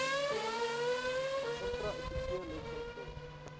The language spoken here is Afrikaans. intra epiteelletsel pil